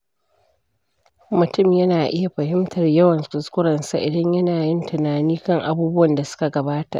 Mutum yana iya fahimtar yawan kuskurensa idan yana yin tunani kan abubuwan da suka gabata.